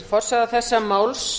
forsaga þessa máls